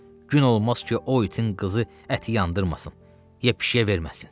Gün olmaz ki, o itin qızı əti yandırmasın, ya pişiyə verməsin.